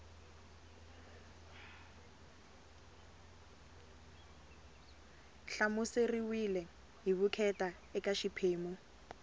hlamuseriweke hi vukheta eka xiphemu